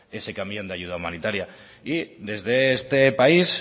ese camión de ayuda humanitaria desde este país